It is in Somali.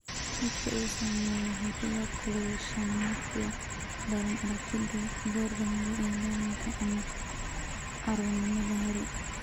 Dadka uu saameeyey waxay sidoo kale yeeshaan myopia daran (aragti dhow) goor dambe ee dhallaanka ama carruurnimada hore.